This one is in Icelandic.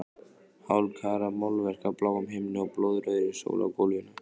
Hálfkarað málverk af bláum himni og blóðrauðri sól á gólfinu.